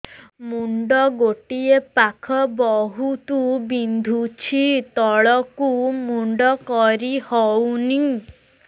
ମୁଣ୍ଡ ଗୋଟିଏ ପାଖ ବହୁତୁ ବିନ୍ଧୁଛି ତଳକୁ ମୁଣ୍ଡ କରି ହଉନି